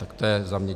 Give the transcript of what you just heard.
Tak to je za mě.